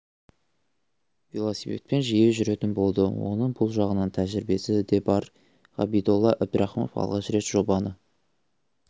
велосипедпен жиі жүретін болды оның бұл жағынан тәжірибесі де бар ғабидолла әбдірахымов алғаш рет жобаны